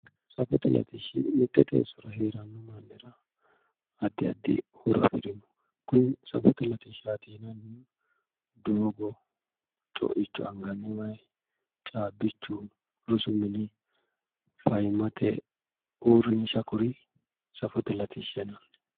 Safote latishshi mite teeso giddo heerano mannira addi addi horo afirino kuni safote latishshati yineemmohu doogo anganni waayi caabbichu rosu mini fayyimmate uurrinsha kuri